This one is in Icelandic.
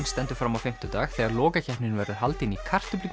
stendur fram á fimmtudag þegar verður haldin í